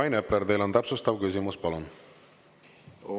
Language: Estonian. Rain Epler, teil on täpsustav küsimus, palun!